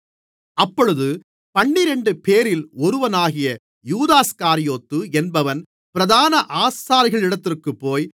அப்பொழுது பன்னிரண்டுபேரில் ஒருவனாகிய யூதாஸ்காரியோத்து என்பவன் பிரதான ஆசாரியர்களிடத்திற்குப்போய்